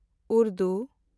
Urdu